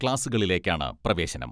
ക്ലാസ്സുകളിലേക്കാണ് പ്രവേശനം.